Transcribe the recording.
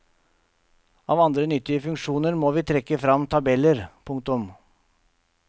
Av andre nyttige funksjoner må vi trekke frem tabeller. punktum